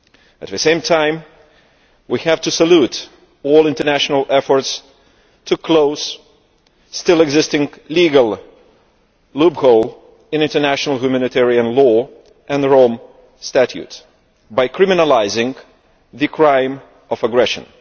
At the same time we have to salute all international efforts to close legal loopholes that still exist in international humanitarian law and the Rome Statutes by criminalising the crime of aggression.